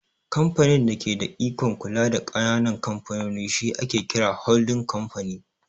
Kamfanin da ke da ikon kula da ƙananan kamfanoni shi ake kira "Holdin Kamfani"